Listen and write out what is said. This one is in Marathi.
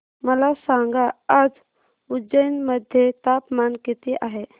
मला सांगा आज उज्जैन मध्ये तापमान किती आहे